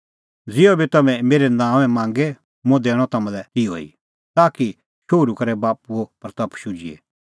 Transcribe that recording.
ज़िहअ बी तम्हैं मेरै नांओंए मांगे मुंह दैणअ तम्हां लै तिहअ ई ताकि शोहरू करै बाप्पूए महिमां होए